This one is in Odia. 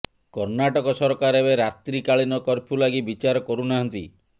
କର୍ଣ୍ଣାଟକ ସରକାର ଏବେ ରାତ୍ରିକାଳୀନ କର୍ଫ୍ୟୁ ଲାଗି ବିଚାର କରୁନାହାନ୍ତି